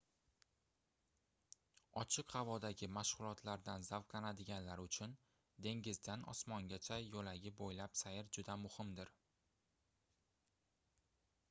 ochiq havodagi mashgʻulotlardan zavqlanadiganlar uchun dengizdan osmongacha yoʻlagi boʻylab sayr juda muhimdir